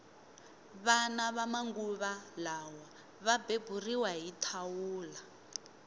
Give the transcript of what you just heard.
vana va manguva lawa va beburiwa hi thawula